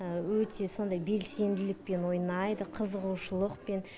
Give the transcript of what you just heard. өте сондай белсенділікпен ойнайды қызығушылықпен